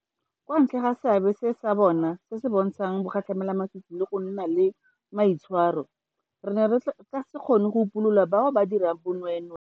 Kwa ntle ga seabe sa bona se se bontshang bogatlhamelamasisi le go nna le maitshwaro, re ne re ka se kgone go upolola bao ba dirang bonweenwee.